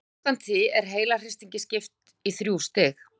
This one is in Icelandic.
Samkvæmt því er heilahristingi skipt í þrjú stig.